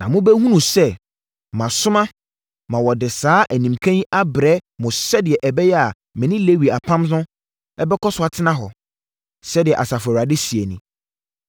Na mobɛhunu sɛ, masoma ma wɔde saa animka yi abrɛ mo sɛdeɛ ɛbɛyɛ a me ne Lewi apam no bɛkɔ so atena hɔ. Sɛdeɛ Asafo Awurade seɛ nie.